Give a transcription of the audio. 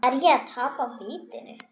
Er ég að tapa vitinu?